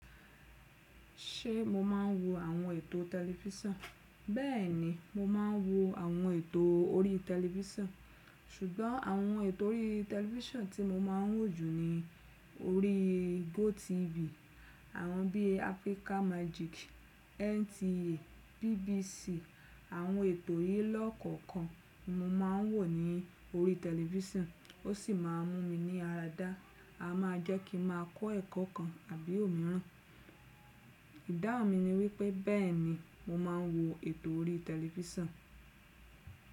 Ṣé mo máa ń wo àwọn ètò tẹlifísàn? Bẹ́ẹ̀ ni, mo máa ń wo àwọn ètò orí tẹlifísàn ṣùgbọ́n àwọn ètò orí tẹlifísàn tí mo máa ń wò jù ni orí GoTv. Àwọn bí i Africa Magic, NTA, BBC. Àwọn ètò yìí lọ́kọ̀kan ni mo máa ń wò ní orí tẹlifísàn ó sì máa ń mú mi ní ara dá. A máa jẹ́ kí n máa kọ́ ẹ̀kọ́ kan tàbí òmíràn. Ìdáhùn mi ni wípé bẹ́ẹ̀ni mo máa ń wo ètò orí tẹlifísàn.